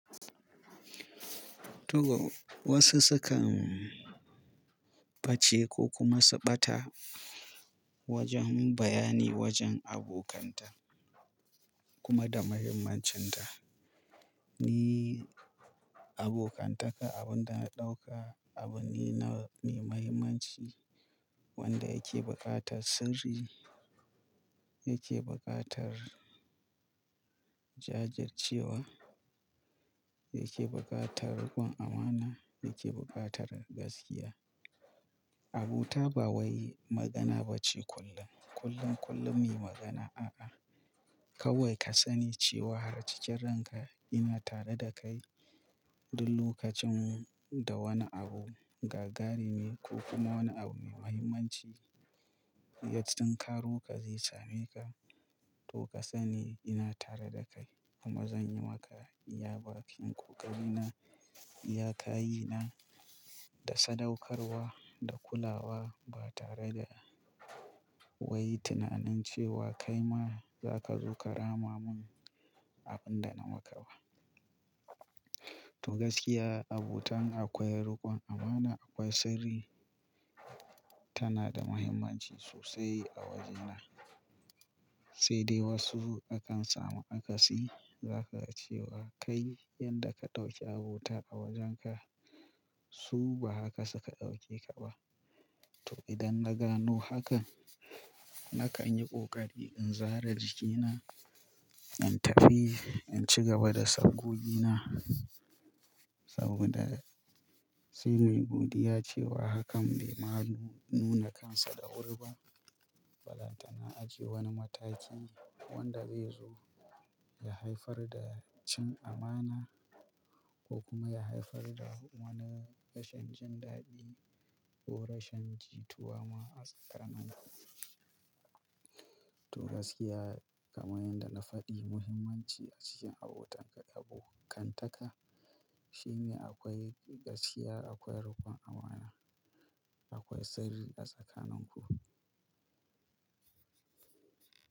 To, wasu sukan face ko kuma su ɓata wajen bayani wajen abokanta kuma da muhimmancinta. Ni abokantaka abin da na ɗauka abu ne na, ne muhimmanci wanda yake buƙatar sirri, yake buƙatar jajircewa, yake buƙatar riƙon amana, yake buƙatar gaskiya. Abota ba wai magana ba ce kullum, kullum, kullum me magana a'a. Kawai ka sani cewa har cikin ranka ina tare da kai duk lokacin da wani abu gagarimi ko kuma wani abu mai muhimmanci ya tunkaro ka zai same ka, to ka sani ina tare da kai kuma zan yi maka iyaba. In ko ƙari na, iya kayi na da sadaukarwa da kulawa ba tare da wai tunanin cewa kai ma za ka zo ka rama mun abun da na maka ba. To gaskiya abotan akwai riƙon amana, akwai sirri tana da muhimmanci sosai a wajena. Sai dai wasu akan samu akasi, zaka ga cewa kai yanda ka ɗauki abota a wajenka su ba haka suka ɗauke ka ba. To idan na gano hakan nakan yi ƙoƙari in zare jikina, in tafi, in ci gaba da sabgogina saboda sai nai godiya cewa hakan bai ma nu-nuna kansa da wuri ba. Balantana aje wani mataki wanda zai zo ya haifar da cin amana ko kuma ya haifar da wani rashin jin daɗi ko rashin jituwa ma a tsakanin ku. To gaskiya kamar yadda na faɗi muhimmanci a cikin abotanka abokantaka shine akwai gaskiya, akwai riƙon amana, akwai sirri a tsakanin ku.